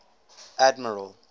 admiral